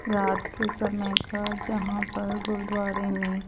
रात के समय घर जहाँ पर गुरूद्वारे में--